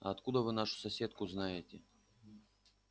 а откуда вы нашу соседку знаете